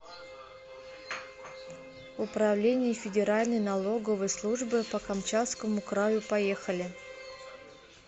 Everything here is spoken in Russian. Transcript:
управление федеральной налоговой службы по камчатскому краю поехали